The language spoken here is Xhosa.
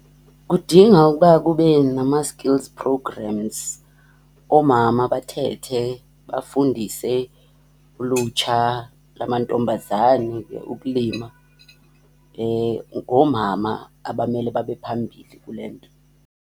Kudinga ukuba kube nama-skills programs. Oomama bathethe, bafundise ulutsha lwamantombazane ukulima. Ngoomama abamele babe phambili kule nto.